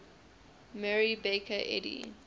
mary baker eddy